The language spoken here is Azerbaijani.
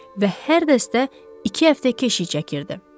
Və hər dəstə iki həftə keşik çəkirdi.